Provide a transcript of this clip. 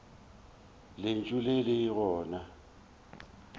le ntše le le gona